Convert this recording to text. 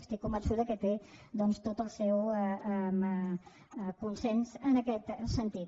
estic convençuda que té tot el seu consens en aquest sentit